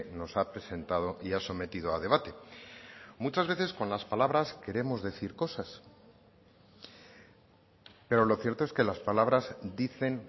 nos ha presentado y ha sometido a debate muchas veces con las palabras queremos decir cosas pero lo cierto es que las palabras dicen